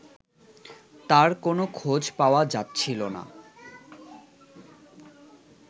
তার কোন খোঁজ পাওয়া যাচ্ছিল না